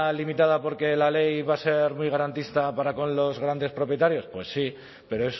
limitada porque la ley va a ser muy garantista para con los grandes propietarios pues sí pero